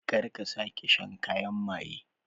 Kar ka sake shan kayan maye